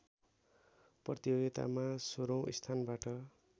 प्रतियोगितामा सोह्रौँ स्थानबाट